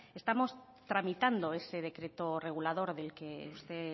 estamos tramitando ese decreto regulador del que usted